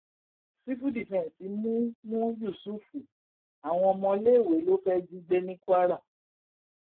sífù dífẹǹsì mú mú yùsùfù àwọn ọmọléèwé ló fẹẹ jí gbé ní kwara